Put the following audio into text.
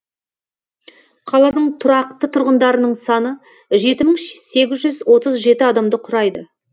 қаланың тұрақты тұрғындарының саны жеті мың сегіз жүз отыз жеті адамды құрайды